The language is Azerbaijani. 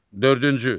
Dördüncü.